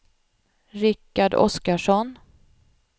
Rikard Oskarsson